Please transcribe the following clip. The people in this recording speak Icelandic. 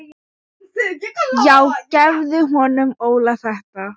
Já gefðu honum Óla þetta.